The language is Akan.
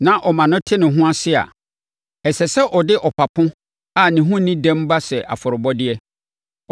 na wɔma no te ne ho ase a, ɛsɛ sɛ ɔde ɔpapo a ne ho nni dɛm ba sɛ nʼafɔrebɔdeɛ.